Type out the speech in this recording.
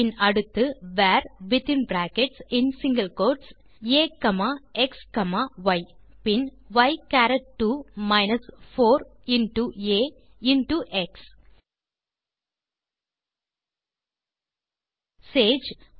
பின் அடுத்து வர் வித்தின் பிராக்கெட்ஸ் மற்றும் சிங்கில் கோட்ஸ் axய் பின் ய் சரத் 2 minus 4 into ah into x Sage